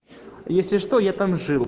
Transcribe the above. если что я там жил